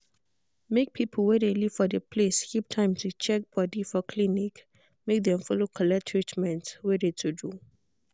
make people wey de live for de place keep time to check body for clinic make dem follow collect treatment wey de to do.